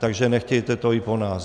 Takže nechtějte to i po nás.